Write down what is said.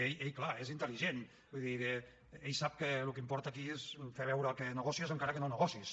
ell clar és intel·ligent vull dir ell sap que el que importa aquí és fer veure que negocies encara que no negociïs